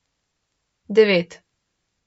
Devet.